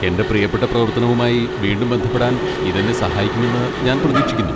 എന്റെ പ്രിയപ്പെട്ട പ്രവർത്തനവുമായി വീണ്ടും ബന്ധപ്പെടാൻ ഇത് എന്നെ സഹായിക്കുമെന്ന് ഞാൻ പ്രതീക്ഷിക്കുന്നു.